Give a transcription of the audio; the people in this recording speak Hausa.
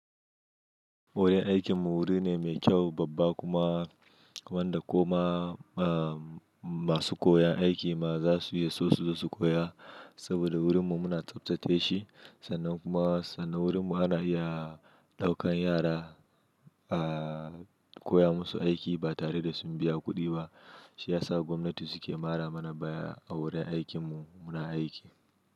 Wurin aikin mu wuri ne mai kyau, babba kuma wanda ko ma masu koyon aiki ma za su iya so su zo su koya. Saboda wurin mu muna tsaftace shi sannan kuma sannan wurin mu ana iya ɗaukan yara a koya musu aiki ba tare da sun biya kuɗi ba. Shi ya sa gwamnati su ke mara mana baya a wurin aikin mu muna aiki.